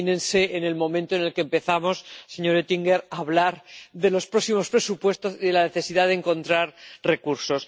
Imagínense, en el momento en el que empezamos, señor Oettinger, a hablar de los próximos presupuestos, de la necesidad de encontrar recursos.